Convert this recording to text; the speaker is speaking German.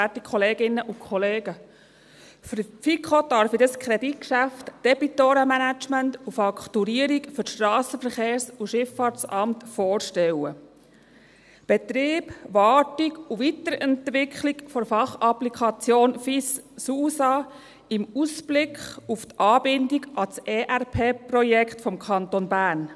Für die FiKo darf ich das Kreditgeschäft Debitorenmanagement und Fakturierung für das Strassenverkehrs- und Schifffahrtsamt vorstellen: Betrieb, Wartung und Weiterentwicklung der Fachapplikation Finanzinformationssystem (FIS) / Strassenverkehrs- und Schifffahrtsanwendung (SUSA) im Ausblick auf die Anbindung an das Enterprise-Resource-Planning(ERP)-Projekt des Kantons Bern.